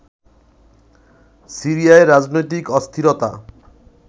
সিরিয়ায় রাজনৈতিক অস্থিরতা